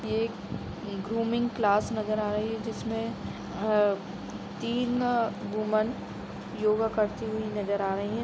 ये एक grooming class नजर आ रही है जिसमें अ तीन वुमन योगा करती हुई नज़र आ रही है।